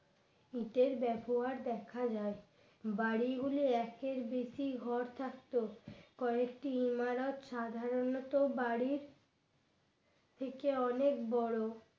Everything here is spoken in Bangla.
ইটের ব্যবহার দেখা যায় বাড়িগুলি একের বেশি ঘর থাকত কয়েকটি এমরোত সাধারণত বাড়ির থেকে অনেক বড়